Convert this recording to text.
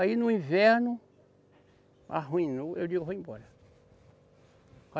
Aí no inverno, arruinou, eu digo, vou embora.